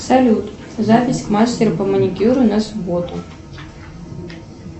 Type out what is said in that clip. салют запись к мастеру по маникюру на субботу